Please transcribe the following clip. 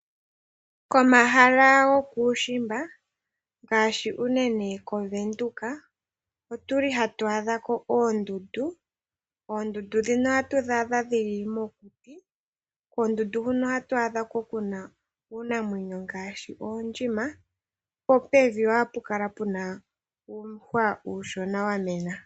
Komahala gokuushimba ngaashi unene kOvenduka ohatu adha ko oondundu. Oondundu ndhino ohatu dhi adha mokuti. Koondundu huno ohatu adha ko uunamwenyo ngaashi oondjima, po pevi oha pu kala pu na uuhwa uushona wa mena.